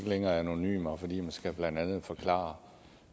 længere er anonyme og fordi man blandt andet skal forklare